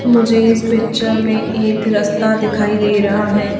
मुझे इस पिक्चर में एक रस्ता दिखाई दे रहा है।